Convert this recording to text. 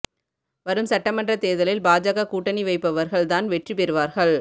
வரும் சட்டமன்ற தோ்தலில் பாஜக கூட்டணி வைப்பவா்கள் தான் வெற்றி பெறுவாா்கள்